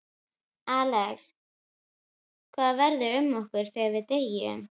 Axel: Hvað verður um okkur þegar við deyjum?